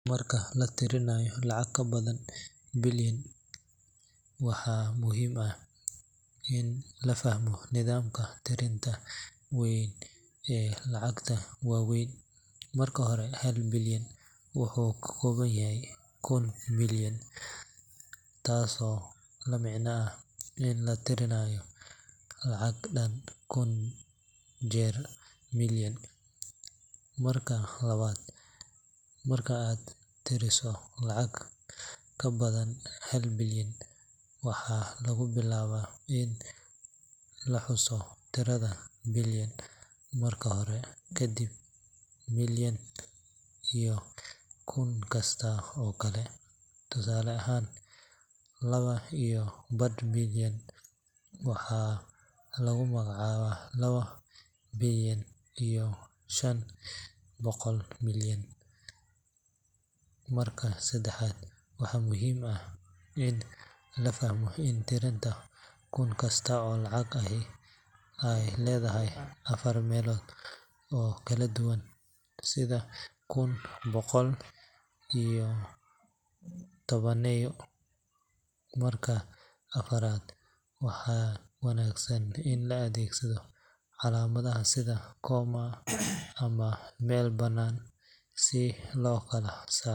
Marka la tirinayo lacag ka badan billion KSH , waxaa muhiim ah in la fahmo nidaamka tirinta weyn ee lacagaha waaweyn. Marka hore, hal billion wuxuu ka kooban yahay kun million, taasoo la micno ah in la tiriyo lacag dhan kun jeer million. Marka labaad, marka aad tirineyso lacag ka badan hal billion, waxaa lagu bilaabaa in la xuso tirada billion marka hore, kadibna million iyo kun kasta oo kale. Tusaale ahaan, laba iyo badh billion waxaa lagu magacaabaa laba billion iyo shan boqol million. Marka saddexaad, waxaa muhiim ah in la fahmo in tirada kun kasta oo lacag ahi ay leedahay afar meelood oo kala duwan sida kun, boqol, iyo tobaneeyo. Marka afaraad, waxaa wanaagsan in la adeegsado calaamadaha sida comma ama meel bannaan si loo kala saaro.